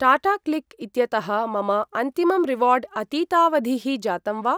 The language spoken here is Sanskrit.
टाटाक्लिक् इत्यतः मम अन्तिमं रिवार्ड् अतीतावधिः जातं वा?